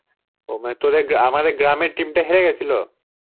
ও মানে তোদে~ আমাদের গ্রামের team টা হেরে গেছিলো?